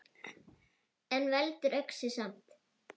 En veldur öxi samt!